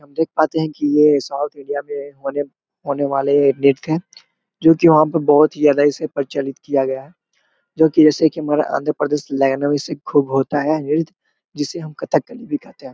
हम देख पते है की ये साउथ इंडिया में होने वाले नृत्य है जो की वहाँ पे बहुत ही ज्यादा इसे प्रचलित किया गया है जो ऐसे हमारा आंध्र प्रदेश लाइनो में से खूब होता है नृत्य जिसे हम कथकली भी कहते है।